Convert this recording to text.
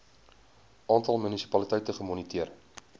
aantal munisipaliteite gemoniteer